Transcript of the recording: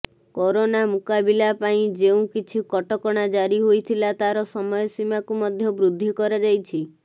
corona ମୁକାବିଲା ପାଇଁ ଯେଉଁ କିଛି କଟକଣା ଜାରି ହୋଇଥିଲା ତାର ସମୟ ସୀମାକୁ ମଧ୍ୟ ବୃଦ୍ଧି କରାଯାଇଛି